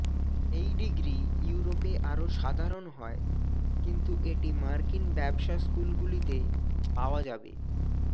এই ডিগ্রী ইউরোপে আরো সাধারণ হয় কিন্তু এটি মার্কিন ব্যবসা স্কুলগুলিতে পাওয়া যাবে